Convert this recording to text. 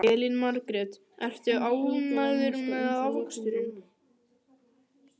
Elín Margrét: Ertu ánægður með afraksturinn?